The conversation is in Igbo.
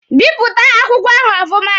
Bipụta akwụkwọ ahụ ọfụma!